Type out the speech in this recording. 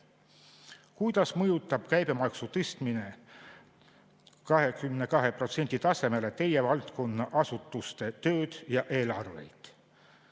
Kuidas mõjutab käibemaksu tõstmine 22% tasemele teie valdkonna asutuste tööd ja eelarveid?